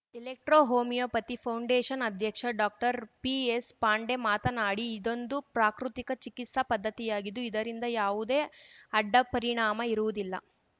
electro homeopathy foundation ಅಧ್ಯಕ್ಷ doctor P ಪಾಂಡೆ ಮಾತನಾಡಿ ಇದೊಂದು ಪ್ರಾಕೃತಿಕ ಚಿಕಿತ್ಸಾ ಪದ್ಧತಿಯಾಗಿದ್ದು ಇದರಿಂದ ಯಾವುದೇ ಅಡ್ಡಪರಿಣಾಮ ಇರುವುದಿಲ್ಲ